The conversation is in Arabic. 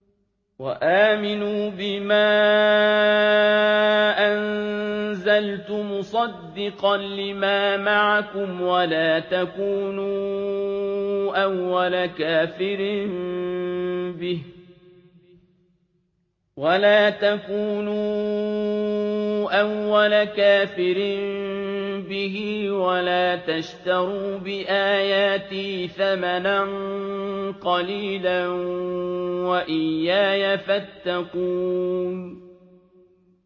وَآمِنُوا بِمَا أَنزَلْتُ مُصَدِّقًا لِّمَا مَعَكُمْ وَلَا تَكُونُوا أَوَّلَ كَافِرٍ بِهِ ۖ وَلَا تَشْتَرُوا بِآيَاتِي ثَمَنًا قَلِيلًا وَإِيَّايَ فَاتَّقُونِ